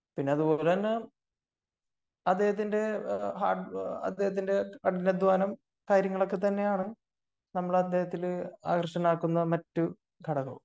പിന്നെ അതുപോലെ തന്നെ അദ്ദേഹത്തിന്റെ ഹാർഡ് കഠിനാധ്വാനം കാര്യങ്ങളൊക്കെ തന്നെയാണ് നമ്മൾ അദ്ദേഹത്തിലു ആകര്ഷണമാക്കുന്ന മറ്റു ഘടകം